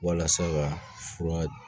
Walasa ka fura